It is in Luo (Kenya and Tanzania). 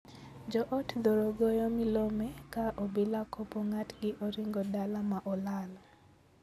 Joot thoro goyo milome ka obila kopo ng'atgi oringo dala ma olal.